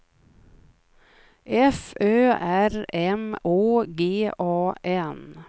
F Ö R M Å G A N